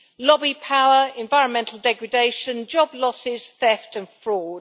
lobby power, environmental degradation, job losses, theft and fraud.